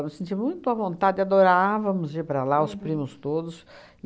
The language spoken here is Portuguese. Nós senti muito à vontade, adorávamos ir para lá, os primos todos.